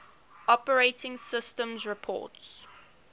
operating systems report